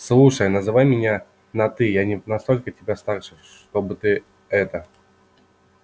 слушай называй меня на ты я не настолько тебя старше чтобы ты это